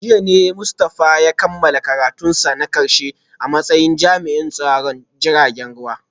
A jiya ne Mustafa ya kammala karatunsa na karshe a matsayin jami’in tsaron jiragen ruwa